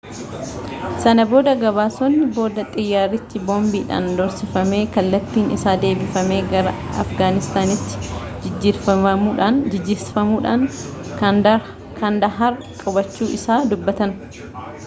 sana booda gabaasonni boodaa xiyyaarrichi boombiidhaan doorsifamee kallattiin isaa deebifamee gara afgaanistaanitti jijjiirsifamuudhaan kaandahaar qubachuu isaa dubbatan